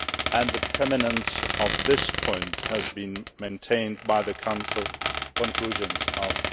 and the prominence of this point was maintained in the Council conclusions of